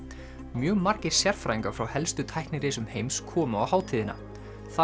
mjög margir sérfræðingar frá helstu tæknirisum heims komu á hátíðina þar